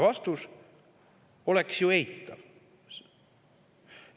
Vastus oleks ju eitav.